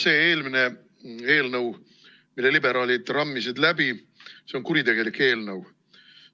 See eelmine eelnõu, mille liberaalid läbi rammisid, on kuritegelik eelnõu.